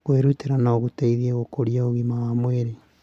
Kwĩrutĩra no gũteithie gũkũria ũgima wa mwĩrĩ.